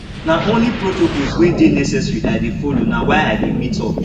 na only protocols wey dey necessary i dey folo na why i dey meet up